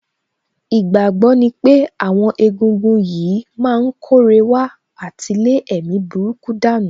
Ìgbàgbọ́ ní pé àwọn egúngún yìí má ń kóre wá àti lé èmi burúkú dànù